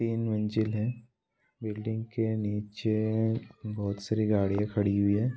तीन मंजिल है बिल्डिंग के नीचे बहोत सारी गाड़ियाँ खड़ी हुई हैं।